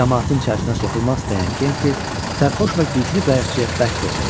Camaatın içərisinə soxulmaq istəyən Kenti sərxoş və güclü qayiqçiyə bərk toxundu.